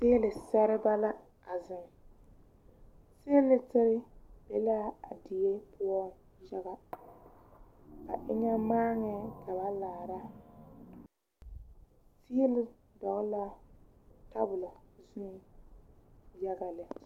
Tiilisɛrebɛ la a zeŋ tiilisiri be la a die poɔ yaga ba eŋɛ maaŋɛɛ ka ba laara tiili dɔgle la tabola zuŋ yaga lɛ